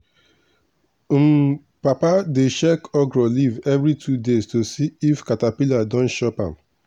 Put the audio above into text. um papa dey check okra leaf every two days to see if caterpillar don chop am.